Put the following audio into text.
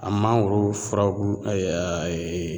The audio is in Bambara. A mangoro furabulu ɛɛ aa eee